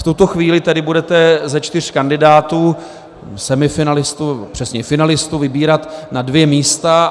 V tuto chvíli tedy budete ze čtyř kandidátů, semifinalistů, přesněji finalistů, vybírat na dvě místa.